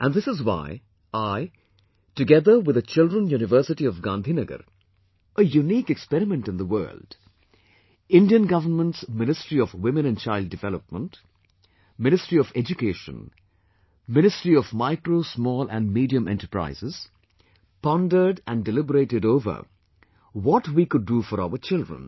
And this is why, I, together with the Children University of Gandhinagar, a unique experiment in the world, Indian government's Ministry of Women and Child Development, Ministry of Education, Ministry of MicroSmall and Medium Enterprises, pondered and deliberated over, what we can do for our children